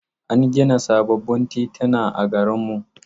An gina sababbin tituna a garin mu.